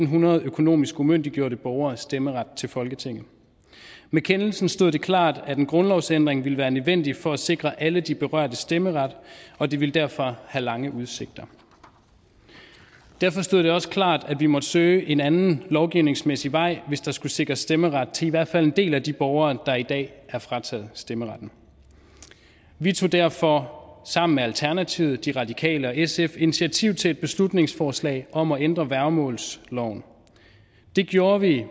hundrede økonomisk umyndiggjorte borgere stemmeret til folketinget med kendelsen stod det klart at en grundlovsændring ville være nødvendig for at sikre alle de berørte stemmeret og det ville derfor have lange udsigter derfor stod det også klart at vi måtte søge en anden lovgivningsmæssig vej hvis der skulle sikres stemmeret til i hvert fald en del af de borgere der i dag er frataget stemmeretten vi tog derfor sammen med alternativet de radikale og sf initiativ til et beslutningsforslag om at ændre værgemålsloven det gjorde vi